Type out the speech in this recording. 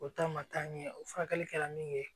O ta ma taa ɲɛ o furakɛli kɛla min ye